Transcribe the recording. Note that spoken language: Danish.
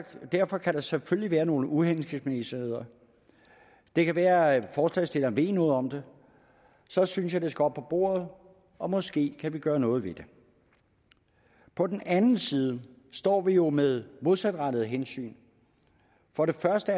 derfor kan der selvfølgelig være nogle uhensigtsmæssigheder det kan være at forslagsstilleren ved noget om det så synes jeg det skal op på bordet og måske kan vi gøre noget ved det på den anden side står vi jo med modsatrettede hensyn for det første